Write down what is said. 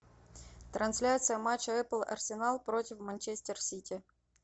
трансляция матча апл арсенал против манчестер сити